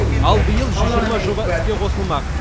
ал биыл жүз жиырма жоба іске қосылмақ